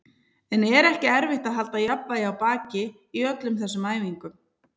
En er ekki erfitt að halda jafnvægi á baki í öllum þessum æfingum?